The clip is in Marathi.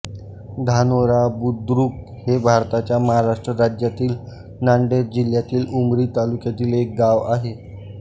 धानोरा बुद्रुक हे भारताच्या महाराष्ट्र राज्यातील नांदेड जिल्ह्यातील उमरी तालुक्यातील एक गाव आहे